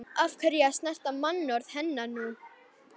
Af hverju að sverta mannorð hennar nú?